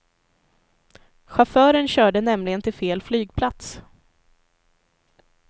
Chauffören körde nämligen till fel flygplats.